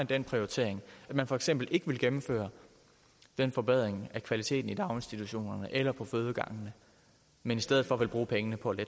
den prioritering at man for eksempel ikke vil gennemføre den forbedring af kvaliteten i daginstitutionerne eller på fødegangene men i stedet for vil bruge pengene på